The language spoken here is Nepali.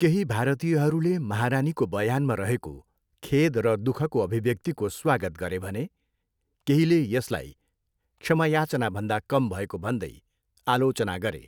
केही भारतीयहरूले महारानीको बयानमा रहेको खेद र दुःखको अभिव्यक्तिको स्वागत गरे भने केहीले यसलाई क्षमा याचनाभन्दा कम भएको भन्दै आलोचना गरे।